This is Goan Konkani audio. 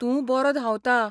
तूं बरो धांवता.